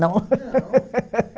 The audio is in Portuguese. Não?